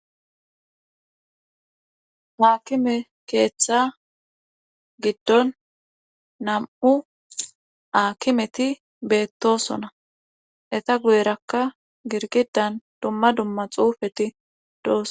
haakime keeththa giddon nam7u aakimeti beettosona eta guyerakka girgidan dumma dumma xuufeti dooso